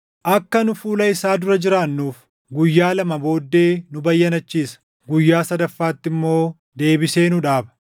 Akka nu fuula isaa dura jiraannuuf, guyyaa lama booddee nu bayyanachiisa; guyyaa sadaffaatti immoo deebisee nu dhaaba.